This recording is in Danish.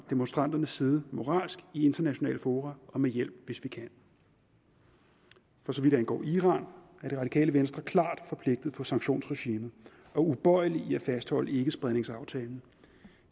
demonstranternes side moralsk i internationale fora og med hjælp hvis vi kan for så vidt angår iran er det radikale venstre klart forpligtet på sanktionsregimet og ubøjelig i at fastholde ikkespredningsaftalen